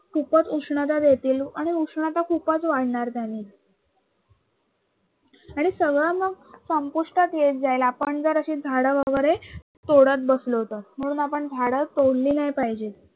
खूपच उष्णता देतील आणि उष्णता खूपच वाढणार त्यानी. हे सगळं आहे न संपुष्टात येत जाईल, आपण जर असे झाडं वगरे तोडत बसलो तर म्हणून आपण झाडं तोडली नाही पाहिजे.